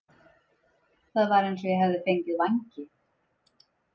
Það var eins og ég hefði fengið vængi.